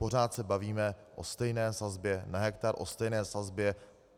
Pořád se bavíme o stejné sazbě na hektar, o stejné sazbě.